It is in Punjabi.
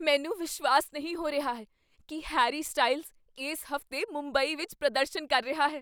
ਮੈਨੂੰ ਵਿਸ਼ਵਾਸ ਨਹੀਂ ਹੋ ਰਿਹਾ ਹੈ ਕੀ ਹੈਰੀ ਸਟਾਈਲਜ਼ ਇਸ ਹਫ਼ਤੇ ਮੁੰਬਈ ਵਿੱਚ ਪ੍ਰਦਰਸ਼ਨ ਕਰ ਰਿਹਾ ਹੈ।